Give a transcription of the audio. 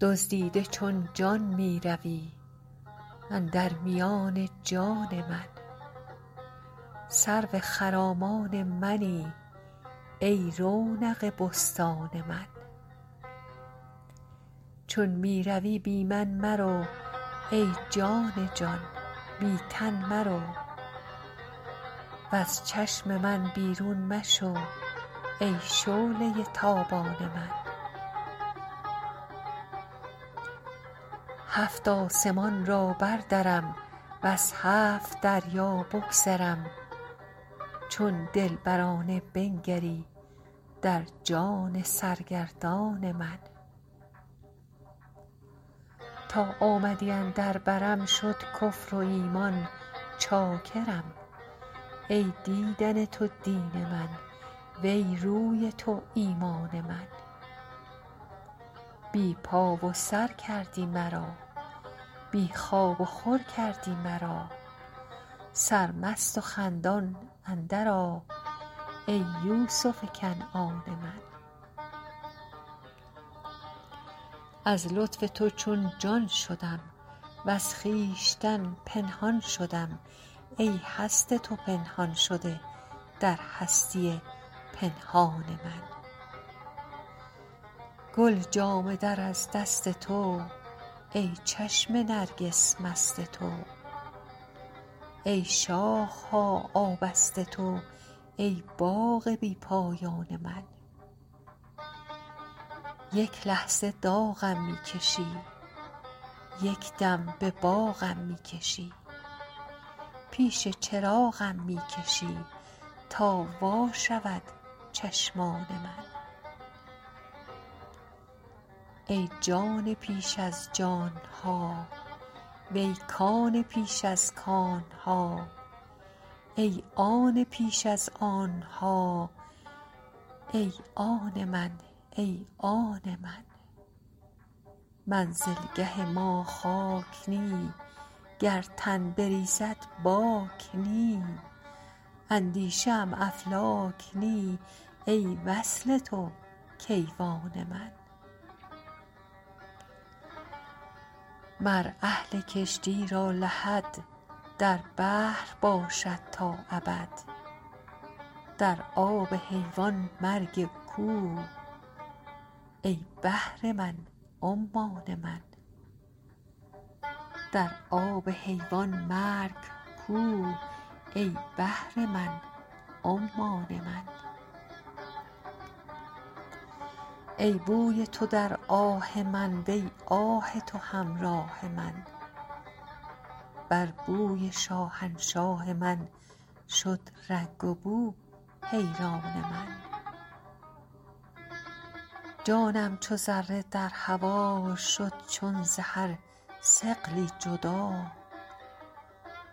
دزدیده چون جان می روی اندر میان جان من سرو خرامان منی ای رونق بستان من چون می روی بی من مرو ای جان جان بی تن مرو وز چشم من بیرون مشو ای شعله ی تابان من هفت آسمان را بردرم وز هفت دریا بگذرم چون دلبرانه بنگری در جان سرگردان من تا آمدی اندر برم شد کفر و ایمان چاکرم ای دیدن تو دین من وی روی تو ایمان من بی پا و سر کردی مرا بی خواب وخور کردی مرا سرمست و خندان اندرآ ای یوسف کنعان من از لطف تو چون جان شدم وز خویشتن پنهان شدم ای هست تو پنهان شده در هستی پنهان من گل جامه در از دست تو ای چشم نرگس مست تو ای شاخ ها آبست تو ای باغ بی پایان من یک لحظه داغم می کشی یک دم به باغم می کشی پیش چراغم می کشی تا وا شود چشمان من ای جان پیش از جان ها وی کان پیش از کان ها ای آن پیش از آن ها ای آن من ای آن من منزلگه ما خاک نی گر تن بریزد باک نی اندیشه ام افلاک نی ای وصل تو کیوان من مر اهل کشتی را لحد در بحر باشد تا ابد در آب حیوان مرگ کو ای بحر من عمان من ای بوی تو در آه من وی آه تو همراه من بر بوی شاهنشاه من شد رنگ وبو حیران من جانم چو ذره در هوا چون شد ز هر ثقلی جدا